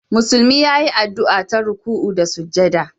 Musulmi ya yi addu'a ta ruku'u da sujada